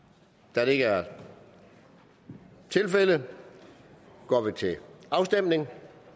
da det ikke er tilfældet går vi til afstemning